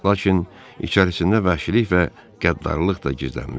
Lakin içərisində vəhşilik və qəddarlıq da gizlənmışdı.